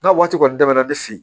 N'a waati kɔni daminɛna ne fe yen